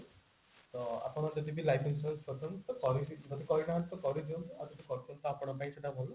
ତ ଆପଣ ଯଦିବି life insurance କରୁଛନ୍ତି ତ କରିବି ଯଦି କରିନାହାନ୍ତି ତ କରି ଦିଅନ୍ତୁ ଆଉ ଯଦି କରିଛନ୍ତି ତ ଆପଣଙ୍କ ପାଇଁ ସେଟା ବହୁତ